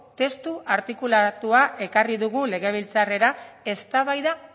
testu artikulatua ekarri dugu legebiltzarrera eztabaida